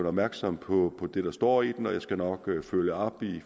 opmærksom på det der står i den og jeg skal nok følge op i